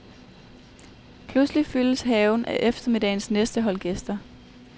Pludselig fyldes haven af eftermiddagens næste hold gæster.